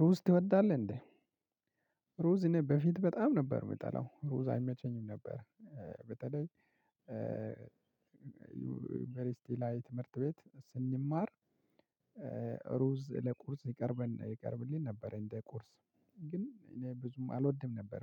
ሩዝ ትወዳለህ እንዴ? ሩዝ እኔ በፊት በጣም ነበር የምጠላው ሩዝ አይመቸኝም ነበር በተለይ ዩንቨርስቲ ላይ ትምህርት ቤት ስንማር። ሩዝ ለቁርስ ይቀርብልን ነበር እንደ ቁርስ ግን እኔ ብዙም አልወድም ነበር